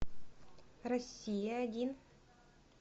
россия один